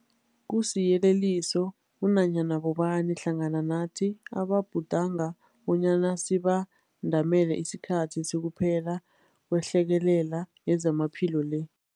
Kusiyeleliso kunanyana bobani hlangana nathi ababhudanga bonyana sibandamele isikhathi sokuphela kwehlekelele yezamaphilo le.